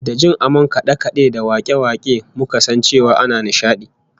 Da jin amon kade-kade da wake-wake muka san cewa ana nishadi